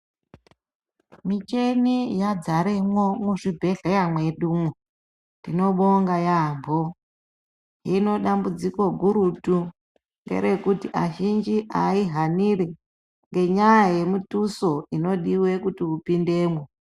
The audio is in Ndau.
Michini yadzaremo muzvibhedhlera mwedumo. Tinobongga yaambo. Hino dambudziko gurutu ngerekuti azhinji ahaihanire ngenyaya yemututso inodiwa kuti upindemo.